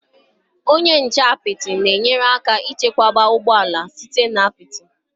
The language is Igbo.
Onye nche apịtị na-enyere aka ichebe ụgbọ ala site na apịtị.